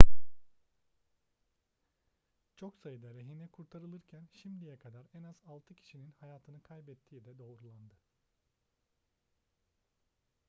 çok sayıda rehine kurtarılırken şimdiye kadar en az altı kişinin hayatını kaybettiği de doğrulandı